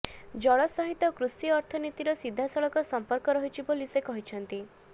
ଜଳ ସହିତ କୃଷି ଅର୍ଥନୀତିର ସିଧାସଳଖ ସମ୍ପର୍କ ରହିଛି ବୋଲି ସେ କହିଛନ୍ତି